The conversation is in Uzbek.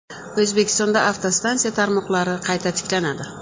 O‘zbekistonda avtostansiya tarmoqlari qayta tiklanadi.